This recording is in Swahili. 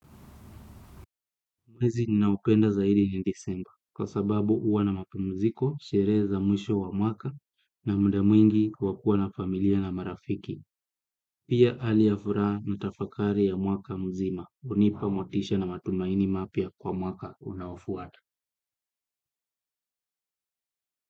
Mwezi ninaopenda zaidi ni December, kwa sababu huwa na mapumziko, sherehe za mwisho wa mwaka na muda mwingi kwa kuwa na familia na marafiki. Pia hali ya furaha na tafakari ya mwaka mzima, hunipa motisha na matumaini mapya kwa mwaka unaofuata.